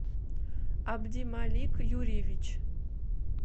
абдималик юрьевич